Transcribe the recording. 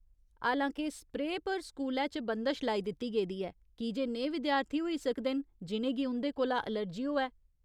हालांके, स्प्रेऽ पर स्कूलै च बंदश लाई दित्ती गेदी ऐ कीजे नेहे विद्यार्थी होई सकदे न जि'नें गी उं'दे कोला एलर्जी होऐ।